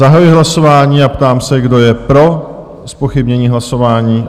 Zahajuji hlasování a ptám se, kdo je pro zpochybnění hlasování?